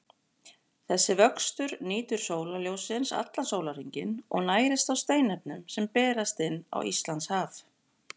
Þessi vöxtur nýtur sólarljóssins allan sólarhringinn og nærist á steinefnum sem berast inn á Íslandshaf.